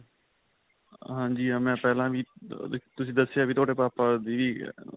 ਹਹ ਹਾਂਜੀ ਹਾਂ ਮੈਂ ਪਹਿਲਾਂ ਵੀ ਤੁਸੀਂ ਦੱਸਿਆ ਵੀ ਤੁਹਾਡੇ ਪਾਪਾ ਦੀ ਅਅ